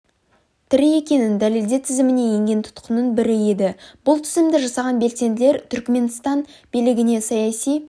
тірі екенін дәлелде тізіміне енген тұтқынның бірі еді бұл тізімді жасаған белсенділер түркіменстан билігінен саяси